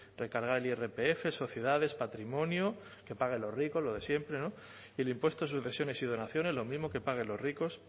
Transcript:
recargar el irpf l sociedades patrimonio que paguen los ricos lo siempre no y el impuestos de sucesiones y donaciones lo mismo que paguen los ricos